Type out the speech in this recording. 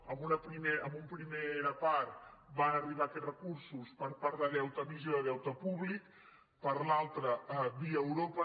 en una primera part van arribar aquests recursos per part d’emissió de deute públic per l’altra via europa